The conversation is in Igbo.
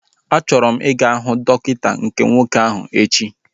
A chọrọ m ị ga huu dọkịta nke nwoke ahu echi